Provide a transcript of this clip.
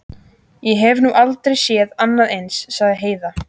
Ég hef nú aldrei séð annað eins, sagði Heiða.